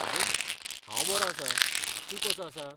आरे, हांव बरो आसां. तूं कसो आसा?